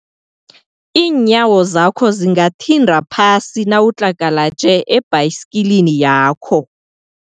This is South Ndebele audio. Iinyawo zakho zingathinta phasi nawutlakalaje ebhayisikilini yakho?